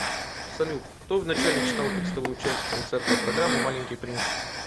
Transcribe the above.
салют кто вначале читал текстовую часть концертной программы маленький принц